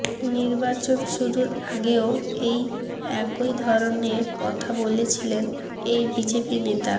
নির্বাাচন শুরুর আগেও এই একই ধরনের কথা বলেছিলেন এই বিজেপি নেতা